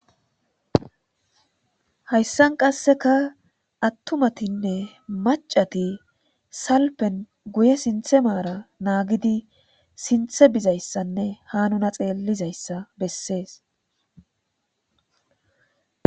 Hayisan qasika atumatinne ma,cati salpen guye sinthe maran nagidi sintha bidayisanne ha nuna xelizayisa besees